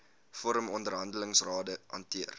vorm onderhandelingsrade hanteer